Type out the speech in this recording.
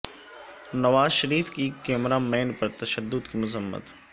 نواز شریف کی cameraman پر تشدد کی مذمت